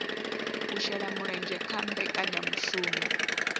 u shela mulenzhe kha mbekanyamushumo